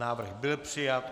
Návrh byl přijat.